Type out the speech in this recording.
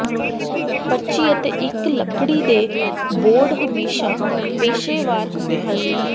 ਪਰਚੀ ਅਤੇ ਇੱਕ ਲੱਕੜੀ ਦੇ ਬੋਰਡ ਹਮੇਸ਼ਾ ਪੇਸ਼ੇਵਰ ਹੁੰਦੇ ਹਨ